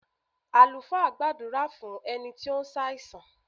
Àlùfáà gbàdúrà fún ẹni tí ó ń ṣàìsàn.